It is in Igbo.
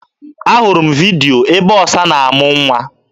Ahụrụ m vidyo ebe ọsa na-amụ nwa.